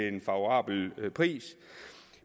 en favorabel pris